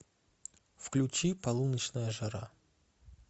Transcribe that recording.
включи полуночная жара